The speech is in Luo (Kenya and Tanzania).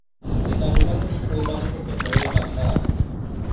e ng'anyo mar iko ma ne okethore e Bagdad